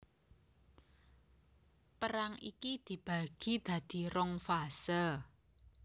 Perang iki dibagi dadi rong fase